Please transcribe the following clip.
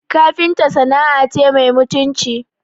Kafinta sana'a ce mai mutunci